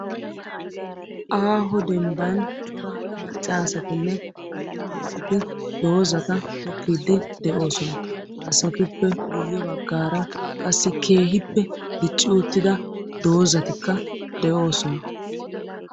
Aaho dembban cora maccasatinne attumasati doozata tokkide doosona. ha asatuppe guyye baggaara qassi keehippe dicci uttida doozatikka de'oosona.